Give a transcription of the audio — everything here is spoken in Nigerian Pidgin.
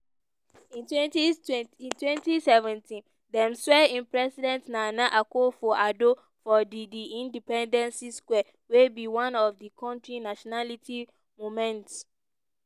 in twenty twenty in twenty seventeen dem swear in president nana akufo-addo for di di independency square wey be one of di kontri nationality monument.